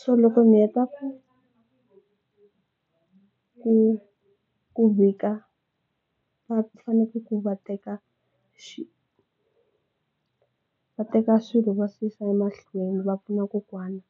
so loko ndzi heta ku ku vika va fanekele ku va teka xilo va teka swilo va yisa emahlweni va pfuna kokwana.